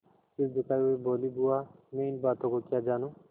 सिर झुकाये हुए बोलीबुआ मैं इन बातों को क्या जानूँ